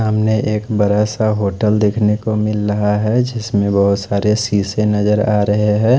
सामने एक बड़ा सा होटल देखने को मिल रहा है जिसमें बहोत सारे शीशे नजर आ रहे हैं।